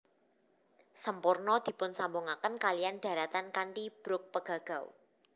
Semporna dipunsambungaken kaliyan dharatan kanthi brug Pegagau